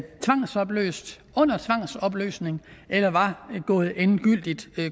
tvangsopløst under tvangsopløsning eller var gået endegyldigt